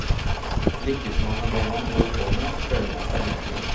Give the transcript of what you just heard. Lykkes man med det man holder på med, føler man seg lykkelig.